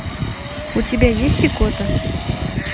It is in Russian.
у тебя есть икота